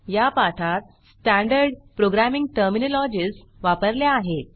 या पाठात standard programming terminologies वापरल्या आहेत